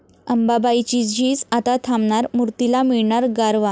अंबाबाईची झीज आता थांबणार, मूर्तीला मिळणार गारवा